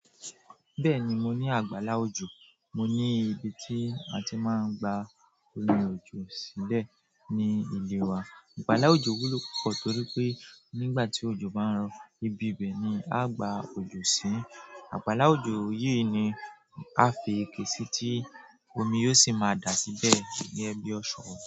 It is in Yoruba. Bẹ́ẹ̀ni, mo ní àgbàlá òjò. Mo ní ibi tí a ti máa ń gba omi ojo sílẹ̀ ní ilé wa. Àgbàlá òjò wúlò púpọ̀ torí pé nígbà tí òjò bá ń rọ, ibi bẹ́ẹ̀ ni a gba òjò sí. Àgbàlá òjò yìí ni a fi iké sí tí omi yóò sì máa dà síbẹ̀ ní ẹbí ọ̀ṣọ́.